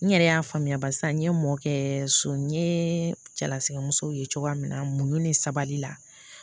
N yɛrɛ y'a faamuya barisa n ye mɔkɛ so n ɲe cɛlasikɛmuso ye cogo min na muɲu ni sabali la